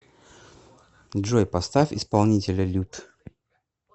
джой поставь исполнителя лют